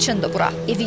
Laçındır bura.